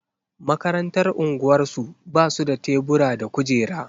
Makarantar unguwarsu ba su da tebura da kujera.